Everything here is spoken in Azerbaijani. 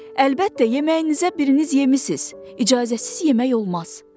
Əlbəttə, yeməyinizə biriniz yemisiz, icazəsiz yemək olmaz.